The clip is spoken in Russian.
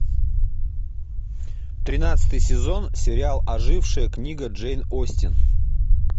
тринадцатый сезон сериал ожившая книга джейн остин